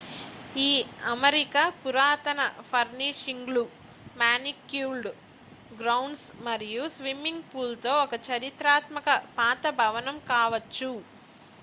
ఈ అమరిక పురాతన ఫర్నిషింగ్లు మానిక్యూర్డ్ గ్రౌండ్స్ మరియు స్విమ్మింగ్ పూల్ తో ఒక చారిత్రాత్మక పాత భవనం కావచ్చు